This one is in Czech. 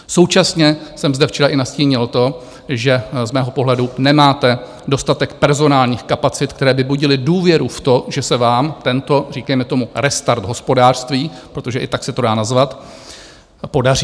Současně jsem zde včera i nastínil to, že z mého pohledu nemáte dostatek personálních kapacit, které by budily důvěru v to, že se vám tento, říkejme tomu, restart hospodářství, protože i tak se to dá nazvat, podaří.